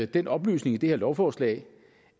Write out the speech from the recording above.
den oplysning i det her lovforslag